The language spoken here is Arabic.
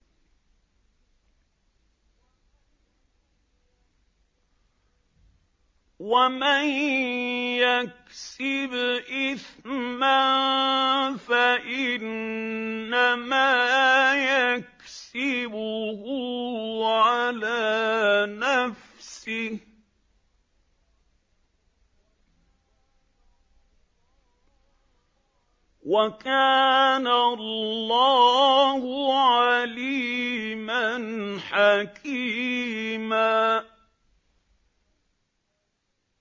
وَمَن يَكْسِبْ إِثْمًا فَإِنَّمَا يَكْسِبُهُ عَلَىٰ نَفْسِهِ ۚ وَكَانَ اللَّهُ عَلِيمًا حَكِيمًا